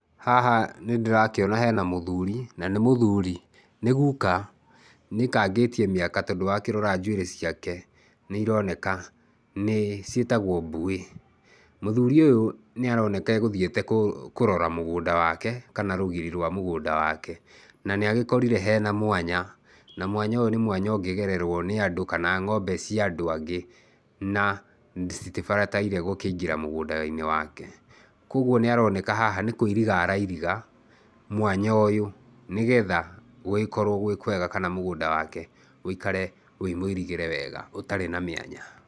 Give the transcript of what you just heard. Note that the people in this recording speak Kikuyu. Haha nĩ ndĩrakĩona hena mũthuri, na nĩ mũthuri, nĩ guka, nĩaikangĩtie mĩaka tondũ wakĩrora njuĩrĩ ciake, nĩ ironeka nĩ, ciĩtagwo mbuĩ. Mũthuri ũyũ nĩ aroneka egũthiĩte kũrora mũgũnda wake kana rũgiri rwa mũgũnda wake na nĩ agĩkorire hena mwanya na mwanya ũyũ nĩ mwanya ũngĩgererwo nĩ andũ kana ng'ombe cia andũ angĩ na citigĩbataire gũkĩingĩra mũgũnda-inĩ wake. Kũoguo nĩaroneka haha nĩkũiriga arairiga mwanya ũyũ nĩ getha gũgĩkorwo gwĩ kwega na mũgũnda wake ũikare wĩ mũirigĩre wega ũtarĩ na mĩanya.